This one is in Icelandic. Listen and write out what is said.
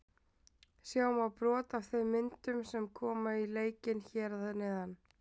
Sjá má brot af þeim myndum sem koma í leikinn hér að neðan.